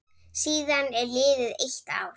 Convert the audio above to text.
Síðan er liðið eitt ár.